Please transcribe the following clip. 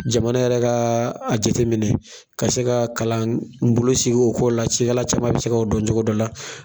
Jamana yɛrɛ ka a jate minɛ ka se ka kalan bolo sigi o ko la, walasa caman bɛ se ka o dɔn o cogo la.